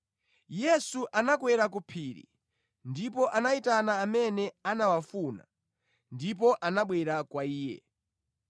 Yesu anakwera ku phiri ndipo anayitana amene anawafuna, ndipo anabwera kwa Iye.